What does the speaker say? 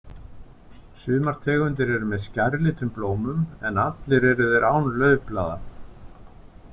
Sumar tegundir eru með skærlitum blómum, en allir eru þeir án laufblaða.